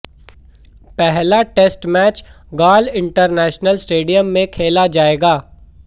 पहला test match Galle international stadium में खेला जाएगा